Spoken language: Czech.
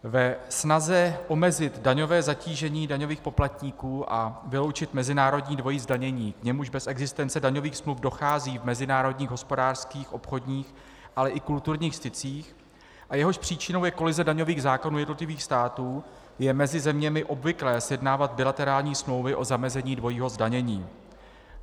Ve snaze omezit daňové zatížení daňových poplatníků a vyloučit mezinárodní dvojí zdanění, k němuž bez existence daňových smluv dochází v mezinárodních hospodářských, obchodních, ale i kulturních stycích a jehož příčinou je kolize daňových zákonů jednotlivých států, je mezi zeměmi obvyklé sjednávat bilaterální smlouvy o zamezení dvojího zdanění.